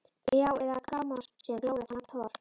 Já- eða Grámosinn glóir eftir hann Thor?